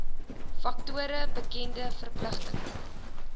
faktore bekende verpligtinge